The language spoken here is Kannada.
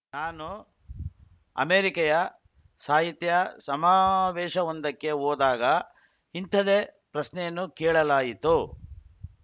ನಾನು ಅಮೇರಿಕೆಯ ಸಾಹಿತ್ಯ ಸಮಾವೇಶವೊಂದಕ್ಕೆ ಹೋದಾಗ ಇಂಥದೇ ಪ್ರಶ್ನೆಯನ್ನು ಕೇಳಲಾಯಿತು